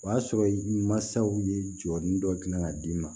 O y'a sɔrɔ mansaw ye jɔli dɔ dilan ka d'i ma